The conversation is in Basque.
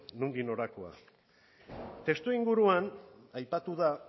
nondik norakoa testuinguruan aipatu da